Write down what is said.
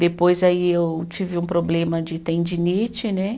Depois aí eu tive um problema de tendinite, né?